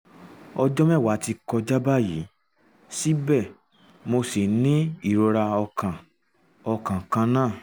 ọjọ́ mẹ́wàá ti kọjá báyìí síbẹ̀ mo ṣì ń ní ìrora ọkàn ọkàn kan náà